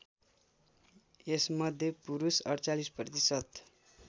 यसमध्ये पुरुष ४८ प्रतिशत